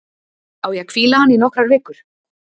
Á ég að hvíla hann í nokkrar vikur?